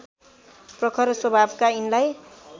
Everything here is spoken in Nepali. प्रखर स्वभावका यिनलाई